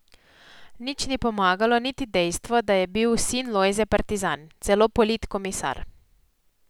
Nič ni pomagalo niti dejstvo, da je bil sin Lojze partizan, celo politkomisar.